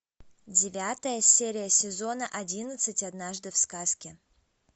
девятая серия сезона одиннадцать однажды в сказке